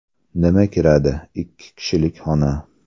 Nima kiradi: Ikki kishilik xona.